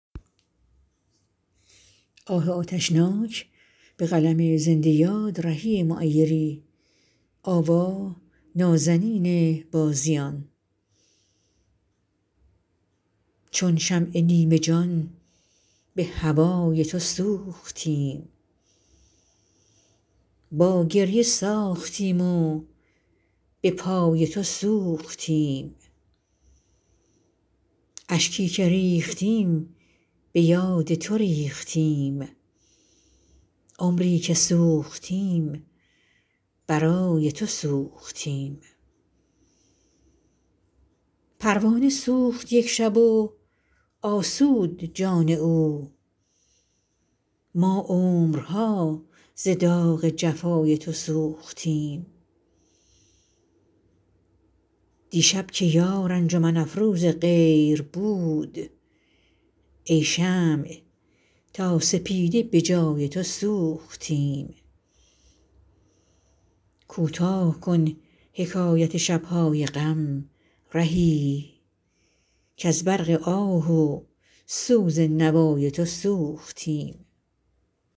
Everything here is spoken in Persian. چون شمع نیمه جان به هوای تو سوختیم با گریه ساختیم و به پای تو سوختیم اشکی که ریختیم به یاد تو ریختیم عمری که سوختیم برای تو سوختیم پروانه سوخت یک شب و آسود جان او ما عمرها ز داغ جفای تو سوختیم دیشب که یار انجمن افروز غیر بود ای شمع تا سپیده به جای تو سوختیم کوتاه کن حکایت شب های غم رهی کز برق آه و سوز نوای تو سوختیم